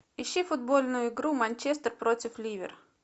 ищи футбольную игру манчестер против ливер